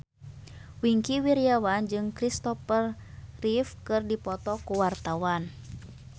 Wingky Wiryawan jeung Christopher Reeve keur dipoto ku wartawan